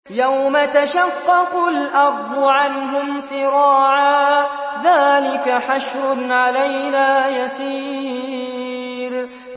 يَوْمَ تَشَقَّقُ الْأَرْضُ عَنْهُمْ سِرَاعًا ۚ ذَٰلِكَ حَشْرٌ عَلَيْنَا يَسِيرٌ